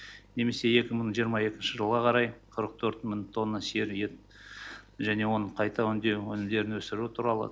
немесе екі мың жиырма екінші жылға қарай қырық төрт мың тонна сиыр етін және оны қайта өңдеу өнімдерін өсіру туралы